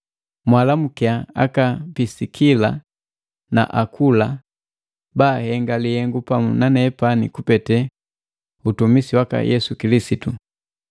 Mwaalamukia aka Pisikila na Akula, baahenga lihengu pamu nanepani kupete utumisi waka Yesu Kilisitu.